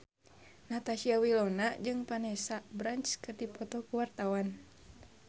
Natasha Wilona jeung Vanessa Branch keur dipoto ku wartawan